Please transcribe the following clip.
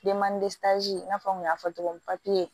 i n'a fɔ n kun y'a fɔ togo min papiye